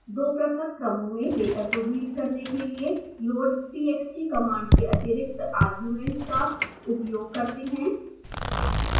दो पृथक क्रमों में डेटा को रीड करने के लिए loadtxt कमांड के अतिरिक्त आर्ग्युमेंट का उयोग करते हैं